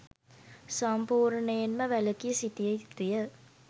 සම්පූර්ණයෙන්ම වැළකී සිටිය යුතුය.